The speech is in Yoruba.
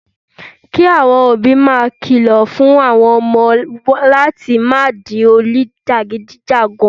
Kí àwọn òbí máa kìlọ̀ fún àwọn ọmọ wọn láti má di oníjàgídígan